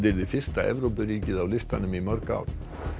yrði fyrsta Evrópuríkið á listanum í mörg ár